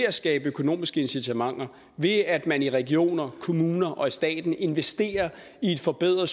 at skabe økonomiske incitamenter og det at man i regioner kommuner og staten investerer i at forbedre